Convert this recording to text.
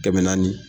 Kɛmɛ naani